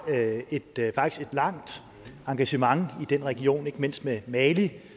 et faktisk langt engagement i den region ikke mindst med mali